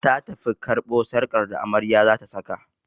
Ta tafi karɓo sarƙar da amarya zata saka